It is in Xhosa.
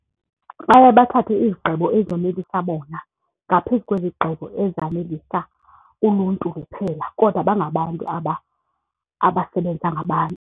Baye bathathe izigqibo ezonelisa bona ngaphezu kwezigqibo ezanelisa uluntu luphela kodwa bangabantu abasebenza ngabantu.